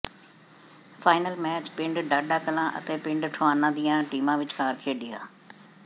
final match ਪਿੰਡ ਢਾਡਾ ਕਲਾਂ ਅਤੇ ਪਿੰਡ ਠੁਆਣਾ ਦੀਆਂ ਟੀਮਾਂ ਵਿਚਕਾਰ ਖੇਡਿਆਂ